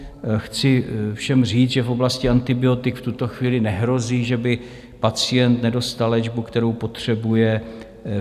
Chci všem říct, že v oblasti antibiotik v tuto chvíli nehrozí, že by pacient nedostal léčbu, kterou potřebuje.